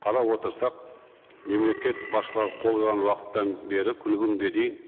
қарап отырсақ мемлекет басшылары қол қойған уақыттан бері күні бүгінге дейін